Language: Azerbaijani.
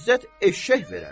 İzzət eşşək verərdi?